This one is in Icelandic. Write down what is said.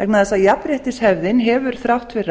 vegna þess að jafnréttishefðin hefur þrátt fyrir allt